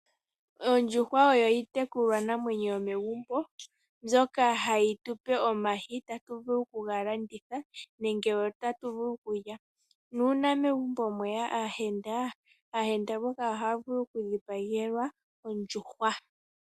Oondjuhwa odho iitekulwa namwenyo yomegumbo, mbyoka hayi tupe omayi, tatu vulu okuga landitha , nenge otatu vulu okulya. Nuuna megumbo mweya aayenda, aayenda mboka ohaa vulu okudhipagelwa ondjuhwa.